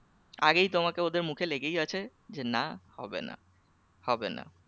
আগেই তোমাকে ওদের মুখে লেগেই আছে যে না হবে না হবে না